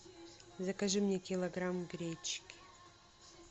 закажи мне килограмм гречки